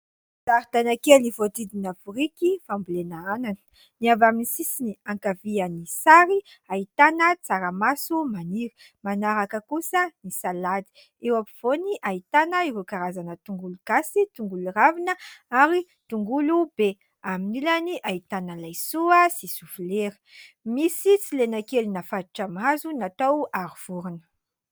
Zaridaina kely voahodidina biriky fambolena anana. Ny avy amin'ny sisiny ankavian'ny sary, ahitana tsaramaso maniry, manaraka kosa ny salady. Eo ampovoany, ahitana ireo karazana tongolo gasy, tongolo ravina ary tongolo be. Amin'ny ilany ahitana laisoa sy soflera ; misy silena kely nafatotra amin'ny hazo natao aro vorona.